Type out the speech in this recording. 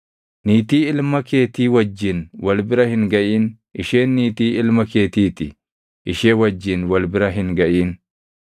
“ ‘Niitii ilma keetii wajjin wal bira hin gaʼin. Isheen niitii ilma keetii ti; ishee wajjin wal bira hin gaʼin.